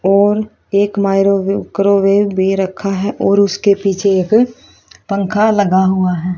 और एक micro wave क्रॉवेब भी रखा है और उसके पीछे एक पंखा लगा हुआ है।